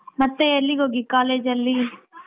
ಮತ್ತೆ ಎಲ್ಲಿಗೋಗಿ ಕಾಲೇಜಲ್ಲಿ.